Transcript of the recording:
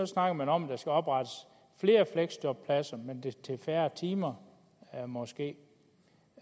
snakker man om at der skal oprettes flere fleksjobpladser men på færre timer måske